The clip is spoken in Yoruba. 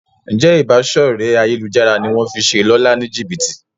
Njé Ìbáṣọ̀rẹ́ ayélujára ní wón fí ṣe Lọla ní jibiti?